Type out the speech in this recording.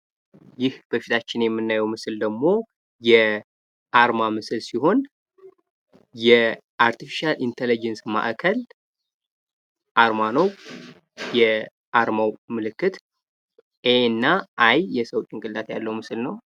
ይህ በፊታችን የምናየው ምስል ደግሞ የአርማ ምስል ደግሞ የአርቲፊሻል ኢንቴሊጀንስ አርማ ነው። የአርማው ምልክት የኤ፣ አይ እና የሰው ጭንቅላት ያለው ነው።